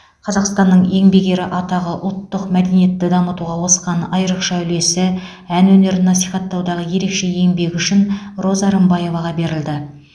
қазақстанның еңбек ері атағы ұлттық мәдениетті дамытуға қосқан айрықша үлесі ән өнерін насихаттаудағы ерекше еңбегі үшін роза рымбаеваға берілді